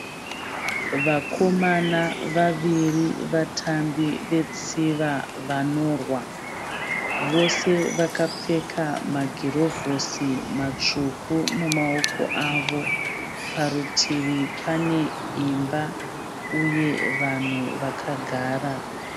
Vakomana vaviri vatambi vetsiva vanorwa. Vose vakapfeka magirovhosi matsvuku mumaoko avo. Parutivi paneimba uye vanhu vakagara.